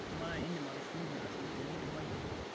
amaa indim atukushunye asioki teneidimayu?